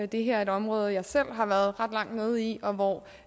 det her er et område jeg selv har været ret langt nede i og